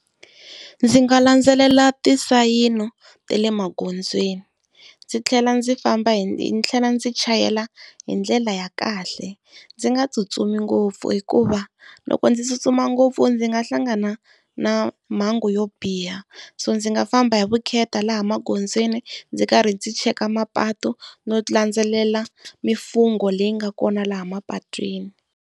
Ndzi nga landzelela ti nsayino ta le magondzweni, ndzi tlhela ndzi famba hi ndzi chayela hi ndlela ya kahle. Ndzi nga tsutsumi ngopfu hikuva loko ndzi tsutsuma ngopfu ndzi nga hlangana na mhangu yo biha, so ndzi nga famba hi vukheta laha magondzweni ndzi karhi ndzi cheka mapatu no landzelela mimfungho leyi nga kona laha mapatwini.